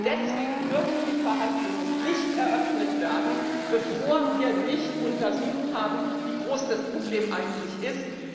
Deswegen dürfen die Verhandlungen nicht eröffnet werden, bevor wir nicht untersucht haben, wie groß das Problem eigentlich ist!